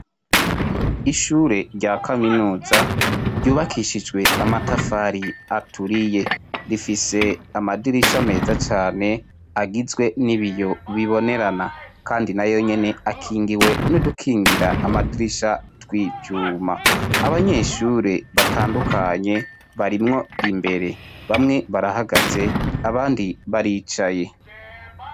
Ishure rya kaminuza ryubakishijwe amatafari aturiye ,rifise amadirisha meza cane agizwe n'ibiyo bibonerana kandi na yonyine akingiwe n'udukingira amadirisha twicuma , abanyeshure batandukanye barimwo imbere bamwe barahagaze abandi baricaye